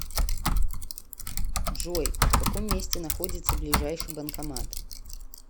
джой в каком месте находится ближайший банкомат